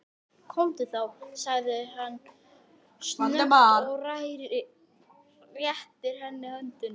Komdu þá, segir hann snöggt og réttir henni höndina.